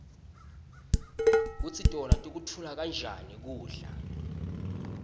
kutsi tona tikutfola njani kubla